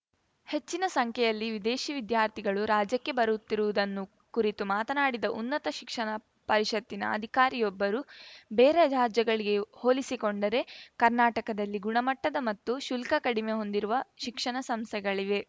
ಹೆಚ್ಚಿನ ಸಂಖ್ಯೆಯಲ್ಲಿ ವಿದೇಶಿ ವಿದ್ಯಾರ್ಥಿಗಳು ರಾಜ್ಯಕ್ಕೆ ಬರುತ್ತಿರುವುದನ್ನು ಕುರಿತು ಮಾತನಾಡಿದ ಉನ್ನತ ಶಿಕ್ಷಣ ಪರಿಷತ್ತಿನ ಅಧಿಕಾರಿಯೊಬ್ಬರು ಬೇರೆ ರಾಜ್ಯಗಳಿಗೆ ಹೋಲಿಸಿಕೊಂಡರೆ ಕರ್ನಾಟಕದಲ್ಲಿ ಗುಣಮಟ್ಟದ ಮತ್ತು ಶುಲ್ಕ ಕಡಿಮೆ ಹೊಂದಿರುವ ಶಿಕ್ಷಣ ಸಂಸ್ಥೆಗಳಿವೆ